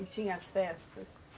E tinha as festas?